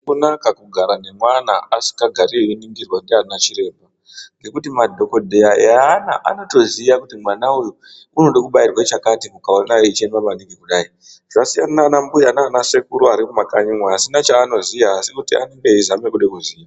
Hazvina kunaka kugara nemwana asingagari einingirwe ndaana chiremba ngekuti madhokodheya eana anotoziva kuti mwana uyu unoda kubairwa chakati ukaona achichema manhingi kudai, zvasiyana nanambuya nanasekuru mumakanyi umo vasina chaanoziva asi kuti anombeza ngekuda kuziva.